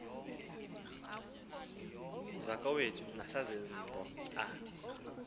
zakowethu nezasembo a